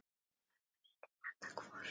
Það væri nú annað hvort.